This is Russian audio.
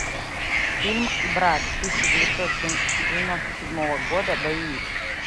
фильм брат тысяча девятьсот девяносто седьмого года боевик